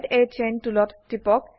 add a chain টুলত টিপক